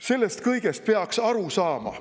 Sellest kõigest peaks aru saama.